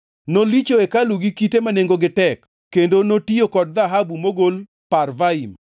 Nolicho hekalu gi kite ma nengogi tek, kendo notiyo kod dhahabu mogol Parvaim.